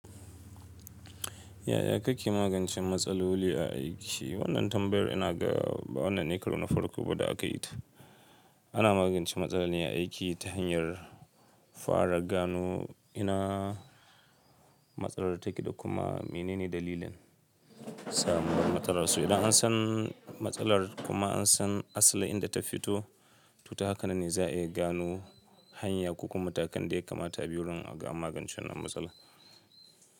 Ya ya kake magancen matsala wuri a aiki? Wannan tambayar ina ga, amma wannan ne karuna farko ba da aka yi ta. Ana magance matsala ne a aiki ta hanyar fara gano ina matsalar take da kuma menene dalilin samuwar matsalar su. Idan an san matsalar kuma an san asalin inda ta fito, to haka ne za a iya gano hanya ko kuma matakan da ya kamata a bi wurin magancen wannan matsala.